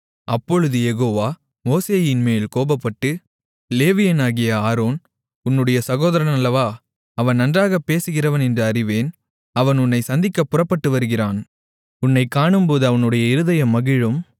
அப்பொழுது யெகோவா மோசேயின்மேல் கோபப்பட்டு லேவியனாகிய ஆரோன் உன்னுடைய சகோதரன் அல்லவா அவன் நன்றாக பேசுகிறவன் என்று அறிவேன் அவன் உன்னைச் சந்திக்கப் புறப்பட்டு வருகிறான் உன்னைக் காணும்போது அவனுடைய இருதயம் மகிழும்